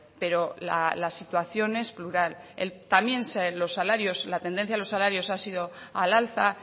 pero la situación es plural también los salarios la tendencia a los salarios ha sido al alza